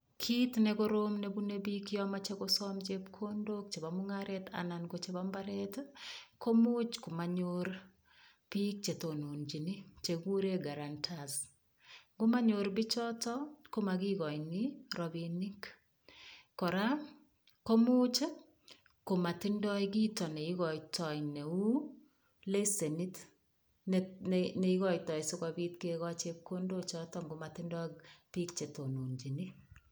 Kiit nekorom nebunei biik yo mochei kosom chepkondok chebo mung'aret anan ko chebo mbaret komuch komanyoru biik chetonchini chekikure guarantees ngomanyor bichoto komakikoini robinik kora ko muuch komatindoi kito neikoitoi neu lesenit neikoitoi sikobit kekoch chepkondochoto ngomatindoi biik chetononjini